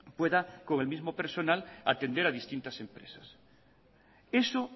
pueda con el mismo personal atender a distintas empresas eso